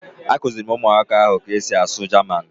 Akụziri m ụmụaka ahụ ka e si asụ Jaman